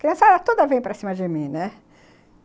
Criançada toda vem para cima de mim, né?